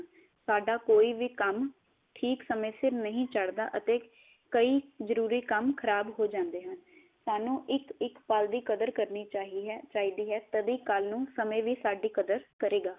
ਸਾਡਾ ਕੋਈ ਵੀ ਕੰਮ ਠੀਕ ਸਮੇ ਸਿਰ ਨਹੀ ਚੜਦਾ ਅਤੇ ਕਈ ਜਰੂਰੀ ਕੰਮ ਖਰਾਬ ਹੋ ਜਾਂਦੇ ਹਨ। ਸਾਨੂੰ ਇਕ ਇਕ ਪਲ ਦੀ ਕਦਰ ਕਰਨੀ ਚਿਹਿਹ ਚਾਹੀਦੀ ਹੈ, ਤਦੇ ਕਲ ਨੂੰ ਸਮੇ ਵੀ ਸਾਡੀ ਕਦਰ ਕਰੇਗਾ।